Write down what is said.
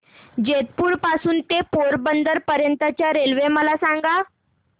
जेतपुर पासून ते पोरबंदर पर्यंत च्या रेल्वे मला सांगा